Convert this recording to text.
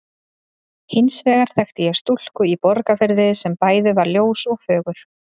Hins vegar þekkti ég stúlku í Borgarfirði sem bæði var ljós og fögur.